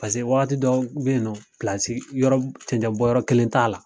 Paseke wagati dɔ be yen nɔ, yɔrɔɔ cɛncɛn bɔn yɔrɔ kelen t'a la.